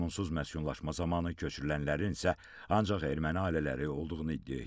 Qanunsuz məskunlaşma zamanı köçürülənlərin isə ancaq erməni ailələri olduğunu iddia etdi.